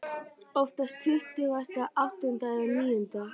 Oftast tuttugasta og áttunda eða níunda.